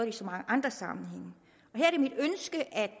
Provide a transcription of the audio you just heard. i så mange andre sammenhænge her